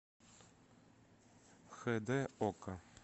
хд окко